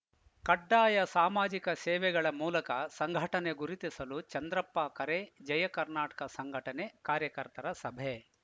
ಕಡ್ಡಾಯ ಸಾಮಾಜಿಕ ಸೇವೆಗಳ ಮೂಲಕ ಸಂಘಟನೆ ಗುರುತಿಸಲು ಚಂದ್ರಪ್ಪ ಕರೆ ಜಯ ಕರ್ನಾಟಕ ಸಂಘಟನೆ ಕಾರ್ಯಕರ್ತರ ಸಭೆ